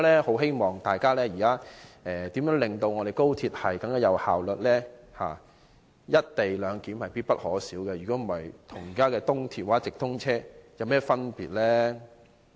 因此，大家應看看如何令我們的高鐵更有效率，而"一地兩檢"是必不可少，否則，高鐵與現時的東鐵或直通車又有何分別呢？